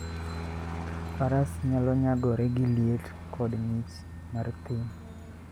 Faras nyalo nyagore gi liet koda ng'ich mar thim.